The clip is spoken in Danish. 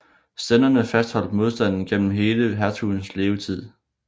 Stænderne fastholdt modstanden gennem hele hertugens levetid